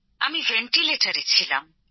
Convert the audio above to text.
আমি ভেন্টিলেটরে ছিলাম